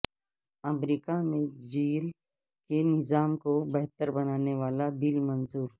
امریکہ میں جیل کے نظام کو بہتر بنانے والا بل منظور